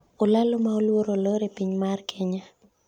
Olalo ma oluor olor e piny mar Kenya